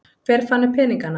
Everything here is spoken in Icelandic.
Hver fann upp peningana?